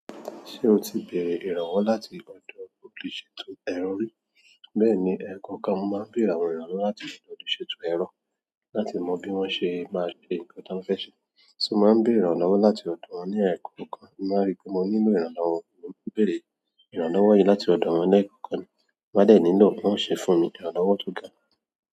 Ṣé o ti bèèrè ìrànwọ́ láti ọ̀dọ̀ olùṣètò ẹ̀rọ rí? Bẹ́ẹ̀ni, ẹ̀ẹ̀kọ̀ọ̀kan mo máa ń béèrè àwọn ìrànlọ́wọ́ láti ọ̀dọ̀ olùṣètò ẹ̀rọ láti mọ bí wọ́n ṣe máa ṣe nǹkan tí mo fẹ́ ṣe. So mo máa ń bèrè ìrànlọ́wọ́ láti ọ̀dọ̀ wọ́n ní ẹ̀ẹ̀kọ̀ọ̀kan. Mo máa rí pé mo nílò ìrànlọ́wọ́, mo máa ń béèrè ìrànlọ́wọ́ yìí láti ọ̀dọ̀ wọ́n lẹ́ẹ̀kọ̀ọ̀kan. Mo máa dẹ̀ nílò kí wọ́n ṣe fún mi, ìrànlọ́wọ́ tó ga.